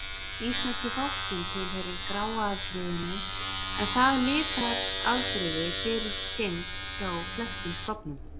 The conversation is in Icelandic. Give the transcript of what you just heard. Íslenski fálkinn tilheyrir gráa afbrigðinu, en það litarafbrigði fyrirfinnst hjá flestum stofnum.